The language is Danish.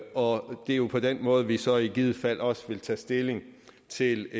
og det er jo på den måde vi så i givet fald også vil tage stilling til